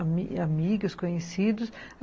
Amigas, conhecidos.